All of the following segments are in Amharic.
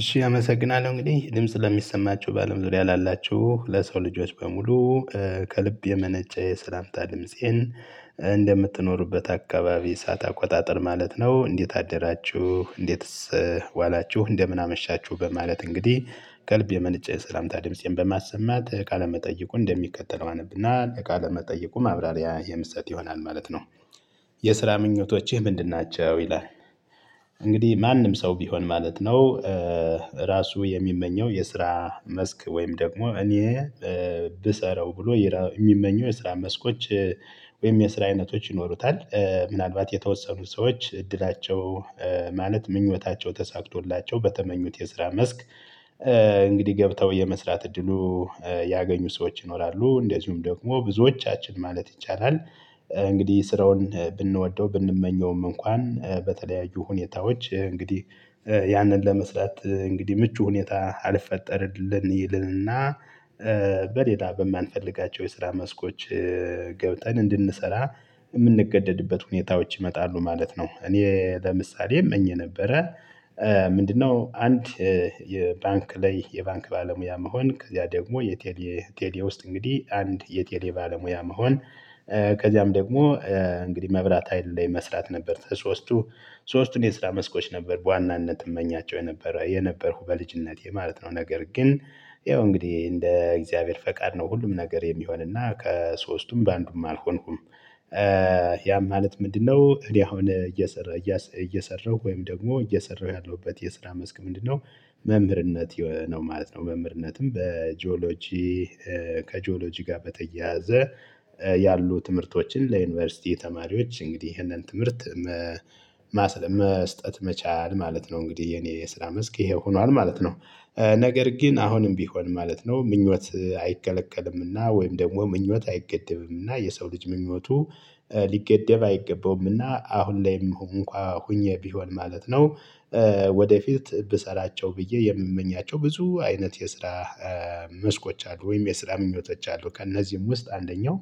እሺ አመሰግናለሁ እንግዲህ ድምጽ ለሚሰማችሁ በአለም ዙሪያ ላላችሁ ለሰው ልጆች በሙሉ ከልብ የመነጨ የሰላምታ ድምፄን እንደምትኖሩበት አካባቢ ሰዓት አቆጣጠር ማለት ነው። እንዴት አደራችሁ እንዴትስ ዋላችሁ እንደምን አመሻችሁ በማለት እንግዲህ ከልብ የመነጨ ሰላምታ ድምፄን በማሰማት ቃለመጠየቁን እንደሚከተለው አነብና ለ ቃለመጠይቁ ማብራሪያ የሚሰጥ ይሆናል ማለት ነው። የስራ ምኞቶችህ ምንድን ናቸው ይላል? እንግዲህ ማንም ሰው ቢሆን ማለት ነው። ራሱ የሚመኘው የስራ መስክ ወይም ደግሞ እኔ ብሰራው ብሎ የሚመኘው የስራ መስኮች ወይም የስራ አይነቶች ይኖሩታል። ምናልባት የተወሰኑ ሰዎች እድላቸው ማለት ምኞታቸው ተሳክቶላቸው በተመኙት የስራ መስክ እንግዲህ ገብተው የመስራት እድሉ ያገኙ ሰዎች ይኖራሉ። እንደዚሁም ደግሞ ብዙዎቻችን ማለት ይቻላል። እንግዲህ ስራውን ብንወደው ብንመኘውም እንኳን በተለያዩ ሁኔታዎች እንግዲህ ያንን ለመስራት እንግዲህ ምቹ ሁኔታ አልፈጠርልን ይልንና። በሌላ በማንፈልጋቸው የስራ መስኮች ገብተን እንድንሰራ የምንገደድበት ሁኔታዎች ይመጣሉ ማለት ነው። እኔ ለምሳሌ እመኝ ነበረ። ምንድነው አንድ የባንክ ላይ የባንክ ባለሙያ መሆን ከዚያ ደግሞ የቴሌ ቴሌ ውስጥ እንግዲህ አንድ የቴሌ ባለሙያ መሆን። ከዚያም ደግሞ እንግዲህ መብራት ኀይል ላይ መስራት ነበር ከሶስቱ ሶስቱን የስራ መስኮች ነበር በዋናነት እመኛቸው የነበረ የነበርኩ በልጅነቴ ማለት ነው። ነገር ግን ያው እንግዲህ እንደ እግዚአብሔር ፈቃድ ነው ሁሉም ነገር የሚሆንና ከሶስቱም በአንዱም አልሆንኩም። ያ ማለት ምንድነው? እኔ አሁን እየሰራሁ እየሰራሁ ወይም ደግሞ እየሰራው ያለውበት የስራ መስክ ምንድነው? መምህርነት ነው ማለት ነው። መምህርነትም በጂኦሎጂ ከጂኦሎጂ ጋር በተያያዘ ያሉ ትምህርቶችን ለዩኒቨርሲቲ ተማሪዎች እንግዲህ ይህንን ትምህርት መስጠት መቻል ማለት ነው። እንግዲህ የኔ የስራ መስክ ይሄ ሆኗል ማለት ነው። ነገር ግን አሁንም ቢሆን ማለት ነው ምኞት አይከለከልምና ወይም ደግሞ ምኞት አይገደብምና የሰው ልጅ ምኞቱ ሊገደብ አይገባውምና አሁን ላይም እንኳ ሆኜ ቢሆን ማለት ነው። ወደፊት ብሰራቸው ብዬ የምመኛቸው ብዙ አይነት የስራ መስኮች አሉ። ወይም የስራ ምኞቶች አሉ። ከእነዚህም ውስጥ አንደኛው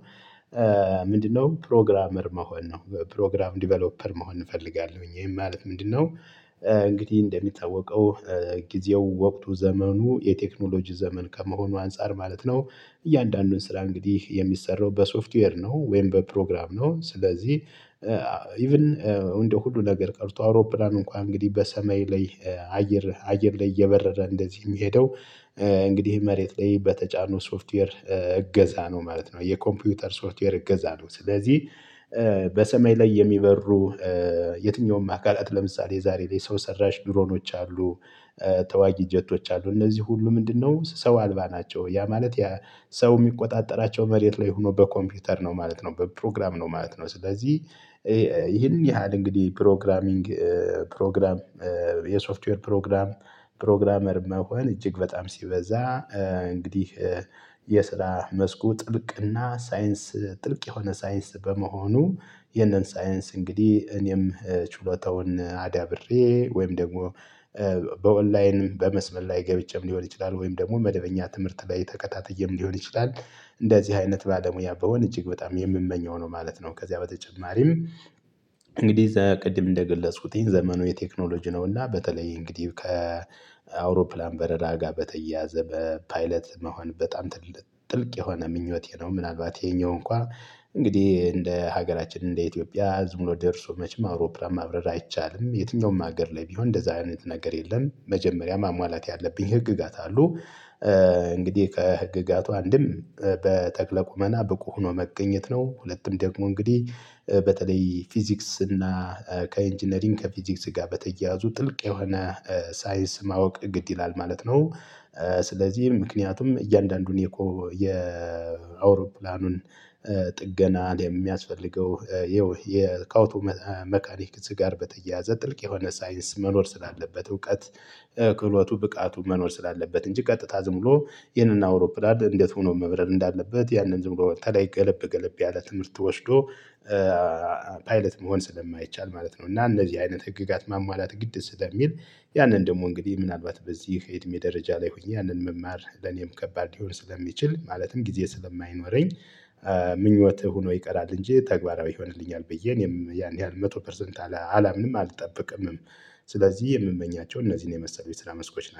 ምንድነው? ፕሮግራመር መሆን ነው። ፕሮግራም ዲቨሎፐር መሆን እፈልጋለሁኝ ይሄን ማለት ምንድነው? እንግዲህ እንደሚጠወቀው ጊዜው ወቅቱ ዘመኑ የቴክኖሎጂ ዘመን ከመሆኑ አንፃር ማለት ነው። እያንዳንዱን ስራ እንግዲህ የሚሰራው በሶፍትዌር ነው ወይም በፕሮግራም ነው ስለዚህ። ኢቭን እንደ ሁሉ ነገር ቀርቶ አውሮፕላን እንኳን እንግዲህ በሰማይ ላይ አየር አየር ላይ እየበረረ እንደዚህ የሚሄደው እንግዲህ መሬት ላይ በተጫነው ሶፍትዌር እገዛ ነው ማለት ነው። የኮምፒውተር ሶፍትዌር እገዛ ነው ስለዚህ። በሰማይ ላይ የሚበሩ የትኛውም አካላት ለምሳሌ የዛሬ ላይ ሰው ሰራሽ ድሮኖች አሉ። ተዋጊ ጀቶች አሉ እነዚህ ሁሉ ምንድነው ሰው አልባ ናቸው። ያ ማለት የሰው የሚቆጣጠራቸው መሬት ላይ ሆኖ በኮምፒውተር ነው ማለት ነው በፕሮግራም ነው ማለት ነው። ስለዚህ ይሄን ያህል እንግዲህ ፕሮግራሚንግ ፕሮግራም የሶፍትዌር ፕሮግራም ፕሮግራመር መሆን እጅግ በጣም ሲበዛ እንግዲህ የስራ መስኩ ጥልቅና ሳይንስ ጥልቅ የሆነ ሳይንስ በመሆኑ ይሄንን ሳይንስ እንግዲህ እኔም ችሎታውን አዳብሬ ወይም ደግሞ በኦንላይን በመስመር ላይ ገብቼም ሊሆን ይችላል ወይም ደግሞ መደበኛ ትምህርት ላይ ተከታተይም ሊሆን ይችላል። እንደዚህ አይነት ባለሙያ ብሆነ እጅግ በጣም የምመኘው ነው ማለት ነው። ከዚያ በተጨማሪም እንግዲህ ቅድም እንደገለጽኩትኝ ዘመኑ የቴክኖሎጂ ነውና በተለይ እንግዲህ ከአውሮፕላን በረራ ጋር በተያያዘ በፓይለት መሆን በጣም ጥልቅ የሆነ ምኞቴ ነው። ምናልባት ይሄኛው እንኳን እንግዲህ እንደ ሀገራችን እንደ ኢትዮጵያ ህዝብ ሙሉ ደርሶ መቼም አውሮፕላን ማብረር አይቻልም የትኛውም ሀገር ላይ ቢሆን እንደዚህ አይነት ነገር የለም። መጀመሪያ ማሟላት ያለብኝ ህግጋት አሉ። እንግዲህ ከህግጋቱ አንድም በጠቅለ ቁመና ብቁ ሆኖ መቅኘት ነው። ሁለቱም ደግሞ እንግዲህ በተለይ ፊዚክስ እና ከኢንጂነሪንግ ከፊዚክስ ጋር በተያያዙ ጥልቅ የሆነ ሳይንስ ማወቅ ግድ ይላል ማለት ነው። ስለዚህ ምክንያቱም እያንዳንዱን የአውሮፕላኑን ጥገና የሚያስፈልገው ይኸው ከአውቶ መካኒክስ ጋር በተያያዘ ጥልቅ የሆነ ሳይንስ መኖር ስላለበት እውቀት ክህሎቱ ብቃቱ መኖር ስላለበት እንጂ ቀጥታ ዝም ብሎ ይሄንን አውሮፕላን እንዴት ሆኖ መብረር እንዳለበት ያንን ዝም ብሎ በተለይ ገለብ ገለብ ያለ ትምህርት ወሽዶ ፓይለት መሆን ስለማይቻል ማለት ነው። እና እነዚህ አይነት ህግጋት ማሟላት ግድዝ ስለሚል ያንን ደግሞ እንግዲህ ምናልባት በዚህ ከየትም የደረጃ ላይ ሆኜ ያንን መማር ለኔም ከባድ ሊሆን ስለሚችል ማለትም ጊዜ ስለማይኖረኝ። ምኞትህ ሆኖ ይቀራል እንጂ ተግባራዊ ይሆንልኛል ብዬ እኔም ያን ያህል መቶ ፐርሰንት አላምንም አልጠብቅምም። ስለዚህ የምመኛቸው እነዚህን የመሰሉ የስራ መስኮች